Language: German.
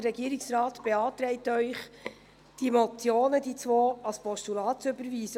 Der Regierungsrat beantragt Ihnen, die zwei Motionen als Postulate zu überweisen.